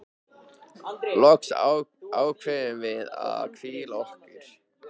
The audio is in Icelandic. Loks ákváðum við að hvíla okkur.